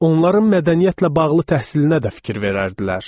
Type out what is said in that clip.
Onların mədəniyyətlə bağlı təhsilinə də fikir verərdilər.